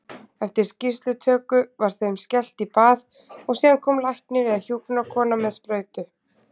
Eftir skýrslutöku var þeim skellt í bað og síðan kom læknir eða hjúkrunarkona með sprautu.